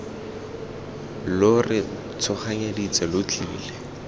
lo re tshoganyeditse lo tlile